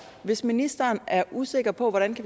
hvis ministeren er usikker på hvordan vi